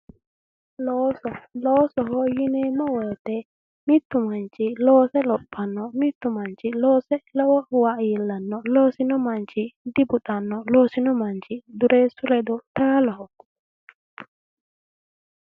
looso loosoho yineemmo woyite mittu manchi loose lophanno mittu manchi loose lowowa iillanno loosino manchi dibuxanno loosino manchi dureessu ledo taaloho.